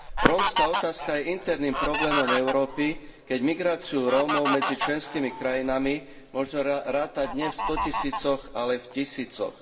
Rómska otázka je interným problémom Európy, keď migráciu Rómov medzi členskými krajinami možno rátať nie v stotisícoch, ale v tisícoch.